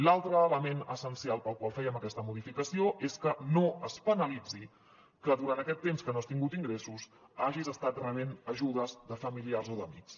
l’altre element essencial pel qual fèiem aquesta modificació és que no es penalitzi que durant aquest temps que no has tingut ingressos hagis estat rebent ajudes de familiars o d’amics